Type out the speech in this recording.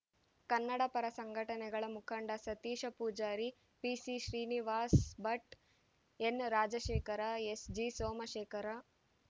ಕನ್ನಡ ಪರ ಸಂಘಟನೆಗಳ ಮುಖಂಡ ಸತೀಶ ಪೂಜಾರಿ ಪಿಸಿಶ್ರೀನಿವಾಸ ಭಟ್‌ ಎನ್‌ರಾಜಶೇಖರ ಎಸ್‌ಜಿಸೋಮಶೇಖರ